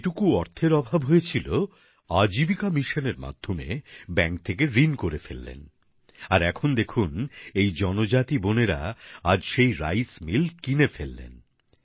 যে টুকু অর্থের অভাব হয়েছিল আজীবিকা মিশন এর মাধ্যমে ব্যাংক থেকে ঋণ নিয়ে ফেললেন আর এখন দেখুন এই জনজাতি বোনেরা আজ সেই চাল কল কিনে ফেললেন